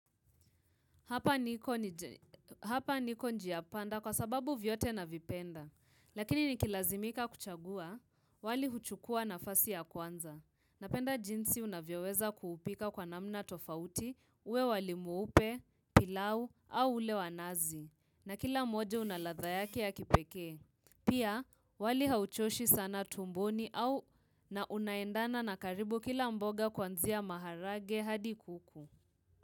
Hapa niko njiapanda kwasababu vyote na vipenda. Lakini nikilazimika kuchagua wali huchukua nafasi ya kwanza. Napenda jinsi unavyoweza kuupika kwa namna tofauti uwe wali mweupe, pilau au ule wa nazi. Na kilamoja unaladha yake ya kipeke. Pia wali hauchoshi sana tumboni au na unaendana na karibu kila mboga kwanzia maharagwe hadi kuku.